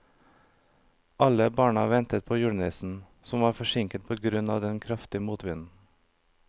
Alle barna ventet på julenissen, som var forsinket på grunn av den kraftige motvinden.